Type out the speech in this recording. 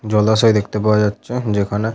জলাশয় দেখতে পাওয়া যাচ্ছে যেখানে--